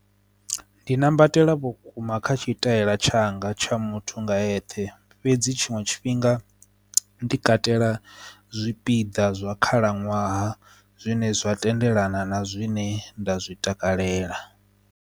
Ndi nambatela vhukuma kha tshitaela tshanga tsha muthu nga eṱhe fhedzi tshiṅwe tshifhinga ndi katela zwipiḓa zwa khalaṅwaha zwine zwa tendelana na zwine nda zwi takalela.